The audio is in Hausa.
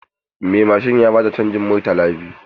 Mai mashin ya ba ta canjin murtala biyu.